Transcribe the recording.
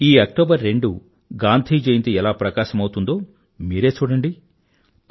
ఈ అక్టోబర్ రెండు గాంధీ జయంతి ఎలా ప్రకాశవంతమవుతుందో మీరే చూడండి